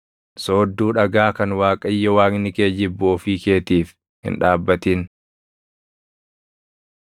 Soodduu dhagaa kan Waaqayyo Waaqni kee jibbu ofii keetiif hin dhaabbatin.